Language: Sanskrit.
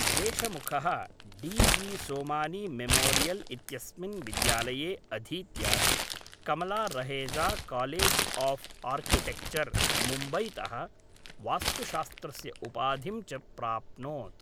देशमुखः जी डी सोमानी मेमोरियल् इत्यस्मिन् विद्यालये अधीत्य Kamala Raheja college of architecture मुम्बईतः वास्तुशास्त्रस्य उपाधिं च प्राप्नोत्।